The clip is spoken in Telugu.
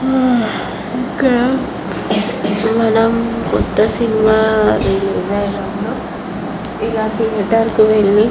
హా ఇక్కడ మనము కొత్త సినిమా రిలీజ్ అయినప్పుడు ఇలా థియేటర్ కు వెళ్లి --